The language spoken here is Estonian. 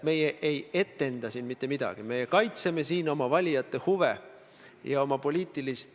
Ja ma ütlesin, et minu meelest oleme me siin, ma arvan, teiega täiesti ühel positsioonil.